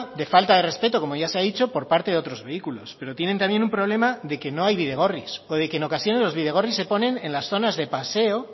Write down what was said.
de falta de respeto como ya se ha dicho por parte de otros vehículos pero tienen también un problema de que no hay bidegorris o de que en ocasiones los bidegorris se ponen en las zonas de paseo